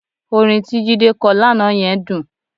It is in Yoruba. Orin tí Jídé kọ lánàá yẹn dùn